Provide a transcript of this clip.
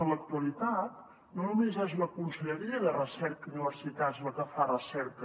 en l’actualitat no només és la conselleria de recerca i universitats la que fa recerca